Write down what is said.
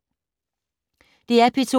DR P2